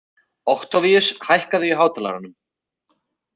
Októvíus, hækkaðu í hátalaranum.